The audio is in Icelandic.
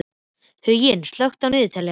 Huginn, slökktu á niðurteljaranum.